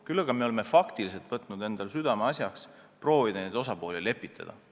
Küll aga oleme võtnud südameasjaks proovida osapooli lepitada.